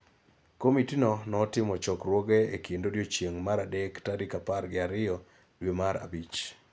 Komiti no notimo chokruoge e kind odiechieng� mar adek tarik apar gi ariyo dwe mar abich